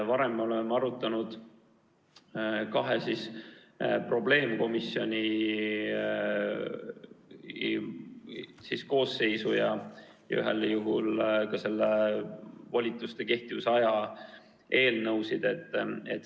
Varem me oleme arutanud kahe probleemkomisjoni koosseisu ja ühel juhul ka volituste kehtivusaja eelnõusid.